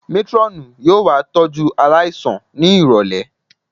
Métírọ́ọ̀nù yóò wá tọ́jú aláìsàn ní ìrọ̀lẹ̀